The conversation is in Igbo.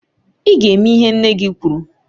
I ga e me ihe nne gị kwuru